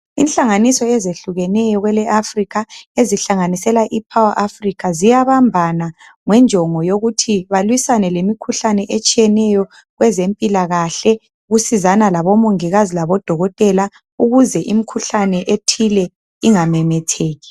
inhlanganiso ezehlukeneyo kwele Africa ezihlanganisela i Power Africa ziyabambana ngenjongo yokuthi balwisane lemikhuhlane etshiyeneyo kwezempilakahle ukusizana labo mongikazi labodokotela ukuze imikhuhlane ethile ingamemetheki